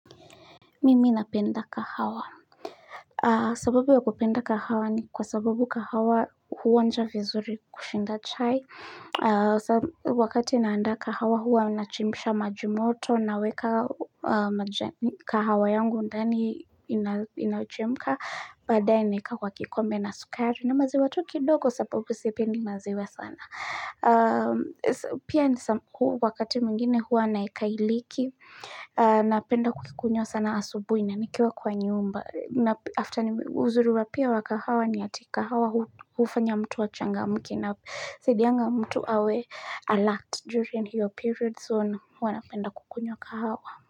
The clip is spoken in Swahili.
Mimi napenda kahawa. Sababu ya kupenda kahawa ni kwa sababu kahawa huonja vizuri kushinda chai. Wakati naandaa kahawa huwa nachemsha maji moto naweka kahawa yangu ndani inachemka. Baadaye naeka kwa kikombe na sukari na maziwa tu kidogo sababu sipendi maziwa sana. Pia wakati mwingine huwa naweka iliki Napenda kuikunywa sana asubuhi na nikiwa kwa nyumba na after uzuri wa pia wa kahawa ni ati kahawa hufanya mtu achangamke inasaidianga mtu awe alert During hiyo period so huwa napenda kukunywa kahawa.